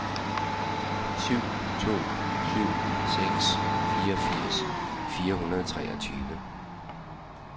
syv to syv seks fireogfirs fire hundrede og treogtyve